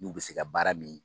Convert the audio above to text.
N'u bɛ se ka baara min